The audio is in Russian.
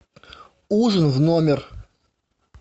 ужин в номер